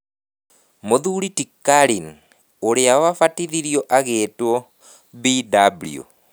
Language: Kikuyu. Mũthuri ti Kalin, ũrĩa wabatithirio agĩtwo BW.